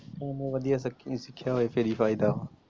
ਵਧੀਆ ਫਿਰ ਸਿੱਖਿਆ ਹੋਵੇ ਫਿਰ ਹੀ ਫਾਇਦਾ ਵਾ।